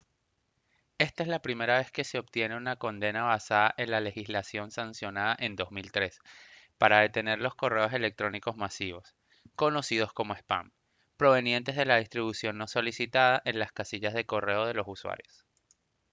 esta es la primera vez que se obtiene una condena basada en la legislación sancionada en 2003 para detener los correos electrónicos masivos conocidos como spam provenientes de la distribución no solicitada en las casillas de correo de los usuarios